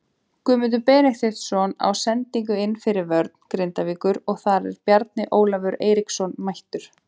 Guðmundur Benediktsson á sendingu inn fyrir vörn Grindavíkur og þar er Bjarni Ólafur Eiríksson mættur.